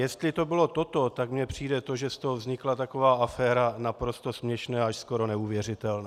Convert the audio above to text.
Jestli to bylo toto, tak mně přijde to, že z toho vznikla taková aféra, naprosto směšné, až skoro neuvěřitelné.